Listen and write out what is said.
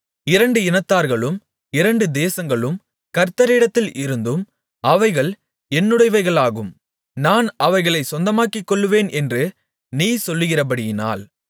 இரண்டு இனத்தார்களும் இரண்டு தேசங்களும் கர்த்தரிடத்தில் இருந்தும் அவைகள் என்னுடையவைகளாகும் நான் அவைகளைச் சொந்தமாக்கிக்கொள்ளுவேன் என்று நீ சொல்லுகிறபடியினால்